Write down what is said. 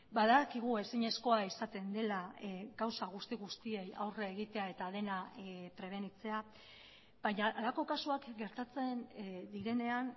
badakigu ezinezkoa izaten dela gauza guzti guztiei aurre egitea eta dena prebenitzea baina halako kasuak gertatzen direnean